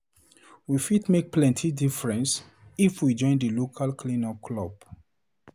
We fit make plenty difference if we go join di local cleanup club.